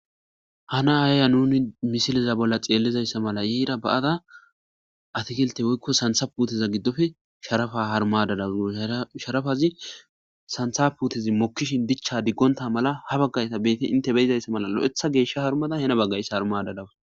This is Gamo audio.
Hana ayaya nuni misiliza bolla xeellizayssa mala yeira ba7ada atikilte woykko santha puteza giddofe sharafa harmadadaz sharafazi santha putezi mokkishin dicha diggonta mala ha baggayta beyte inte beyizayssa mala lo7etha geeshsha harmada hena baggayssa harmada dawa